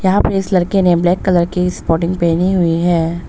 यहां पे इस लड़के ने ब्लैक कलर की स्पोर्टिंग पहनी हुई है।